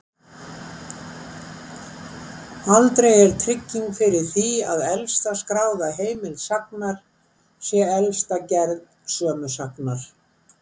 Aldrei er trygging fyrir því að elsta skráða heimild sagnar sé elsta gerð sömu sagnar.